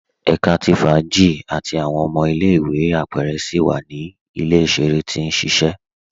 Ẹ̀ká tí fáàjì àti awọn ọmọ ilẹ̀-ìwé apẹrẹ síi wa ni ilẹ̀-iṣẹ̀rẹ tí n ṣiṣẹ